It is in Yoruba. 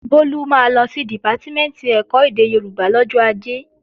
Bólú máa lọ sí Dìpátímẹ̀ntì ẹ̀kọ́ èdè Yorùbá lọ́jọ́ Ajé